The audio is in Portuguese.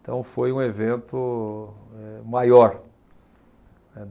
Então foi um evento eh maior, né.